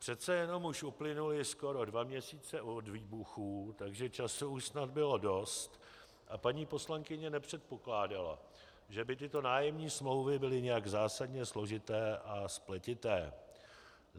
Přece jenom uplynuly už skoro dva měsíce od výbuchů, takže času už snad bylo dost, a paní poslankyně nepředpokládala, že by tyto nájemní smlouvy byly nějak zásadně složité a spletité.